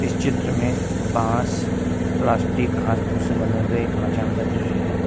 इस चित्र में बांस प्लास्टिक घास पुश से बने हुए एक मचान का दृश्य है।